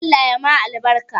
Allah ya ma albarka